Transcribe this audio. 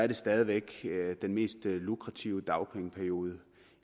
den stadig væk er den mest lukrative dagpengeperiode